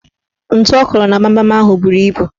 Ntu ọ kụrụ na gbamgbam ahụ buru ibu